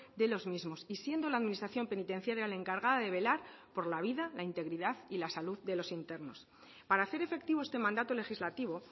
de los mismos y siendo la administración penitenciaria la encargada de velar por la vida la integridad y la salud de los internos para hacer efectivo este mandato legislativo